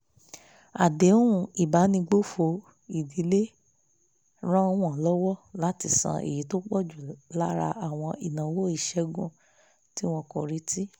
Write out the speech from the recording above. àdéhùn ìbánigbófò ìdílé ràn wọ́n lọ́wọ́ láti san èyí tó pọ̀ jù lára àwọn ìnáwó ìṣègùn tí wọn kò retí